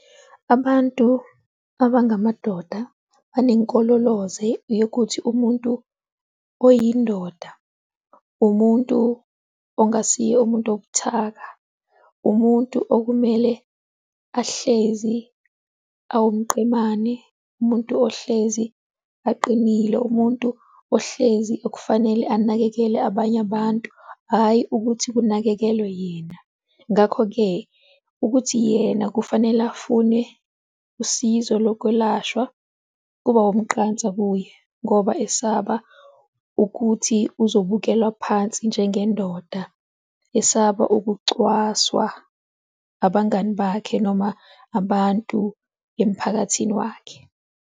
Abantu abangamadoda banenkolo loze yokuthi umuntu oyindoda umuntu ongasiye umuntu obuthaka, umuntu okumele ahlezi awumqemane, umuntu ohlezi aqinile, umuntu ohlezi okufanele anakekele abanye abantu, hhayi ukuthi kunakekelwe yena. Ngakho-ke ukuthi yena kufanele afune usizo lokwelashwa kuba umqansa kuye ngoba esaba ukuthi uzibukelwa phansi njengendoda esaba ukucwaswa abangani bakhe noma abantu emphakathini wakhe.